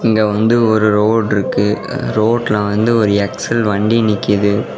இங்க வந்து ஒரு ரோடுருக்கு ரோட்ல வந்து எக்ஸ்_எல் வண்டி நிக்குது.